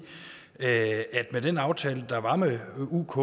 at med den aftale der var med uk